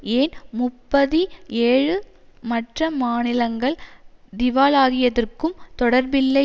ஏன் முப்பதி ஏழு மற்ற மாநிலங்கள் திவாலாகியதற்கும் தொடர்பில்லை